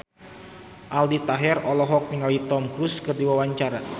Aldi Taher olohok ningali Tom Cruise keur diwawancara